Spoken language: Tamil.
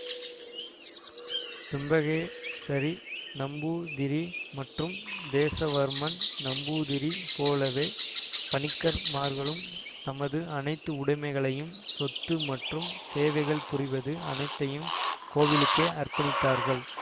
செம்பகேசரி நம்பூதிரி மற்றும் தேஷவர்மன் நம்பூதிரி போலவே பணிக்கர்மார்களும் தமது அனைத்து உடமைகளையும் சொத்து மற்றும் சேவைகள் புரிவது அனைத்தையும் கோவிலுக்கே அற்பணித்தார்கள்